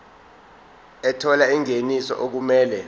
ethola ingeniso okumele